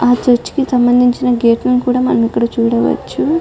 ఆ చర్చికి సంబంధించిన గేట్లను కూడా మనం ఇక్కడ చూడవచ్చు.